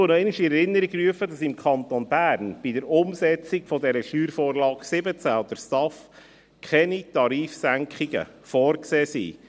Ich rufe noch einmal in Erinnerung, dass im Kanton Bern bei der Umsetzung der Steuervorlage 17 (SV17) und der STAF keine Tarifsenkungen vorgesehen sind.